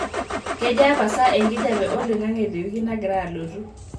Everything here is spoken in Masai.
kejaa pasa enkijape olaing'ange te wiki nagira alotu